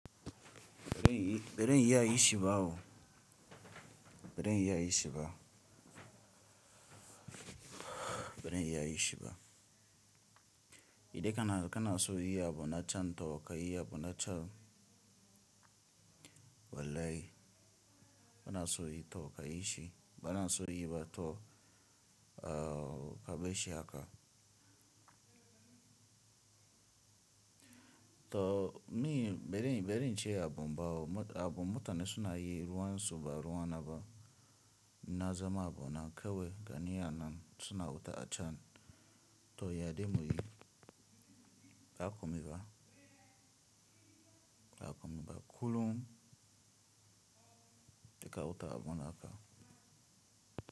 Bari, bari in yi a yi shi bawo. Bari in yi a yi shi ba. Bari in yi a yi shi ba. Idan kana, kana so yi abu na can to ka yi abu na can. Wallahi bana so yi to ka yi shi. Bana so yi ba to, uh, ka bai shi haka. To, ni barin, barin in ce abun bawo. Abu mutane suna yi ruwan su ba ruwa na ba. Na zama abu na kawai gani anan suna wuta a can. To, ya dai muyi? Ba komi ba. Ba komi ba kullum da ka wuta abun haka.